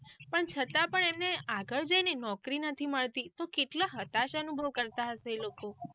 પણ છતાં પણ એમને આગળ જઈને નોકરી નથી મળતી તો કેટલા હતાશ અનુભવ કરતા હશે એ લોકો.